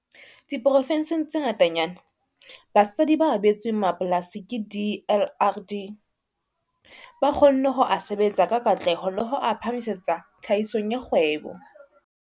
Diprovenseng tse ngatanyana, basadi ba abetsweng mapolasi ke DLRD ba kgonne ho a sebetsa ka katleho le ho a phahamisetsa tlhahisong ya kgwebo.